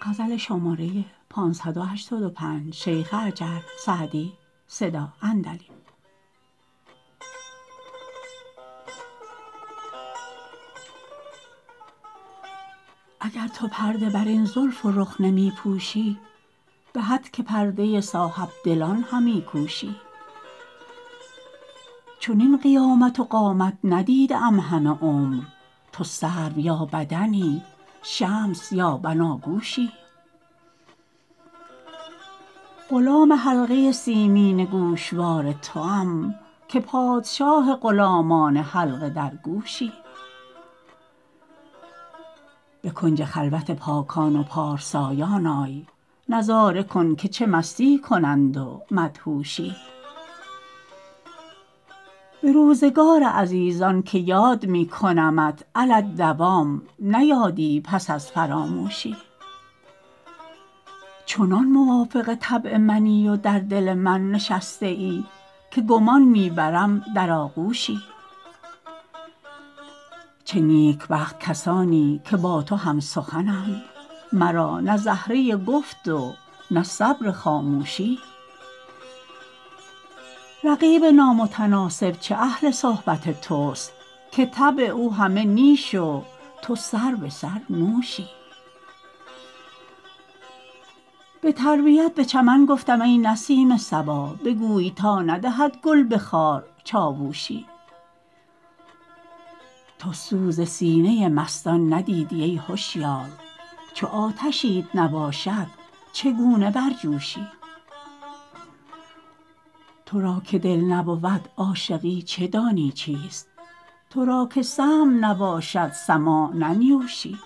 اگر تو پرده بر این زلف و رخ نمی پوشی به هتک پرده صاحب دلان همی کوشی چنین قیامت و قامت ندیده ام همه عمر تو سرو یا بدنی شمس یا بناگوشی غلام حلقه سیمین گوشوار توام که پادشاه غلامان حلقه درگوشی به کنج خلوت پاکان و پارسایان آی نظاره کن که چه مستی کنند و مدهوشی به روزگار عزیزان که یاد می کنمت علی الدوام نه یادی پس از فراموشی چنان موافق طبع منی و در دل من نشسته ای که گمان می برم در آغوشی چه نیکبخت کسانی که با تو هم سخنند مرا نه زهره گفت و نه صبر خاموشی رقیب نامتناسب چه اهل صحبت توست که طبع او همه نیش و تو سربه سر نوشی به تربیت به چمن گفتم ای نسیم صبا بگوی تا ندهد گل به خار چاووشی تو سوز سینه مستان ندیدی ای هشیار چو آتشیت نباشد چگونه برجوشی تو را که دل نبود عاشقی چه دانی چیست تو را که سمع نباشد سماع ننیوشی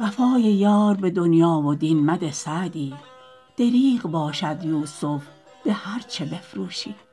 وفای یار به دنیا و دین مده سعدی دریغ باشد یوسف به هرچه بفروشی